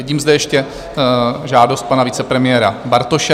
Vidím zde ještě žádost pana vicepremiéra Bartoše.